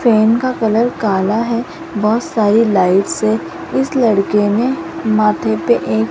pen का colour काला है बहोत सारी लाइट्स है इस लड़के ने माथे पर एक --